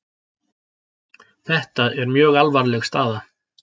Þetta er mjög alvarleg staða